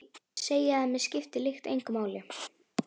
Segi að mig skipti lykt engu máli.